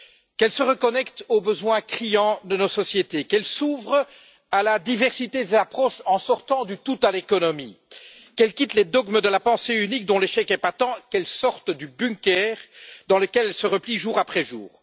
Qu'elle se reconnecte aux besoins criants de nos sociétés, qu'elle s'ouvre à la diversité des approches en sortant du tout à l'économie, qu'elle quitte les dogmes de la pensée unique, dont l'échec est patent, qu'elle sorte du bunker dans lequel elle se replie jour après jour.